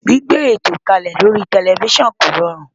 Gbígbé ètò kalẹ lórí tẹlifísàn kò rọrùn